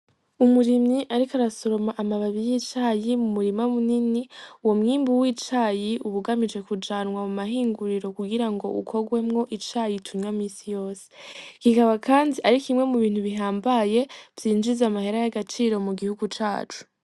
Umurimyi ariko arasoroma amababi y' icayi mu murima munini uwo mwimbu w' icayi uba ugamije kujanwa muma hinguriro kugira ngo ukogwemwo icayi tunwa misa yose, kikaba kandi ari kimwe mu bintu bihambaye vyinjiza amahera y' agaciro mu gihugu cacu.